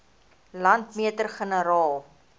landmeter generaal